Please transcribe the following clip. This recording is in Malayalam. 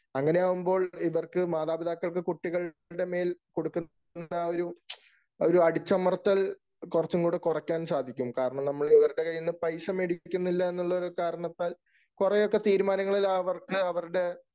അങ്ങനെയാകുമ്പോൾ ഇവർക്ക് മാതാപിതാക്കൾക്ക് കുട്ടികളുടെ മേൽ കൊടുക്കുന്ന ആ ഒരു അടിച്ചമർത്തൽ കൊറച്ചും കൂടെ കൊറയ്ക്കാൻ സാധിക്കും. കാരണം, നമ്മൾ ഇവരുടെ കൈയിൽ നിന്നും പൈസ മേടിക്കുന്നില്ല എന്നുള്ള ഒരു കാരണത്താൽ കൊറേയൊക്കെ തീരുമാനങ്ങളിൽ അവർക്കു അവരുടെ